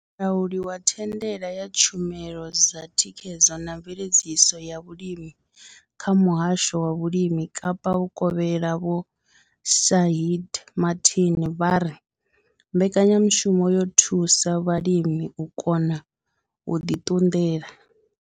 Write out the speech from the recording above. Mulauli wa thandela ya tshumelo dza thikhedzo na mveledziso ya vhulimi kha muhasho wa vhulimi Kapa vhukovhela Vho Shaheed Martin vha ri mbekanyamushumo yo thusa vhalimi u kona u ḓi ṱunḓela.